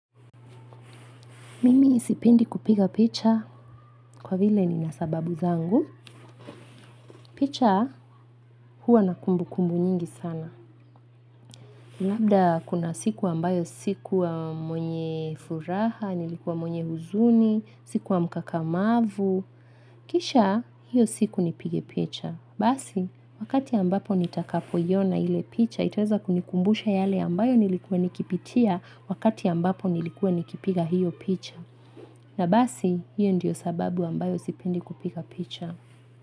Mimi sipendi kupiga picha kwa vile nina sababu zangu. Picha huwa na kumbukumbu nyingi sana. Labda kuna siku ambayo sikuwa mwenye furaha, nilikuwa mwenye huzuni, sikuwa mkakamavu. Kisha hiyo siku nipige picha. Basi, wakati ambapo nitakapoiona ile picha, itaweza kunikumbusha yale ambayo nilikuwa nikipitia wakati ambapo nilikuwa nikipiga hiyo picha. Na basi, hiyo ndiyo sababu ambayo sipendi kupiga picha.